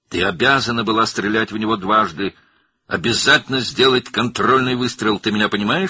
Sən onu iki dəfə vurmalı idin, mütləq nəzarət atəşi açmalı idin, məni başa düşürsən?